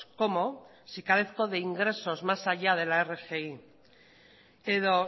cómo si carezco de ingresos más allá que la rgi edo